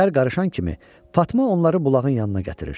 Şər qarışan kimi Fatma onları bulağın yanına gətirir.